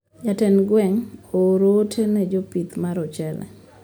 Jatend gweng` ooro ote ne jopith mar ochele